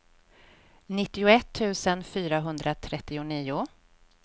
nittioett tusen fyrahundratrettionio